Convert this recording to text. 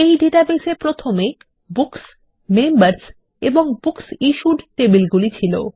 এই ডাটাবেস এ প্রথমে বুকস মেম্বার্স এবং বুকস ইশ্যুড টেবিলগুলি ছিল